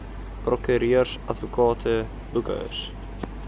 prokureurs advokate boekhouers